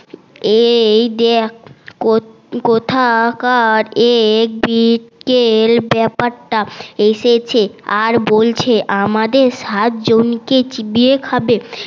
এইযে এক কোথাকার এক এসেছে আর বলছে আমাদের সাতজন কে চিবিয়ে খাবে